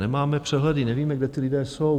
Nemáme přehledy, nevíme, kde ti lidé jsou.